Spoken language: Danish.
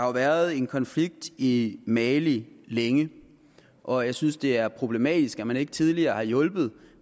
været en konflikt i mali længe og jeg synes det er problematisk at man ikke tidligere har hjulpet